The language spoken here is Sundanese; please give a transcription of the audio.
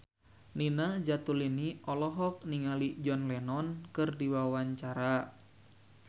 Nina Zatulini olohok ningali John Lennon keur diwawancara